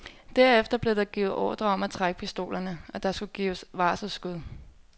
Derefter blev der givet ordre om at trække pistolerne, og der skulle afgives varselsskud.